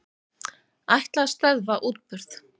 Ætla að stöðva útburð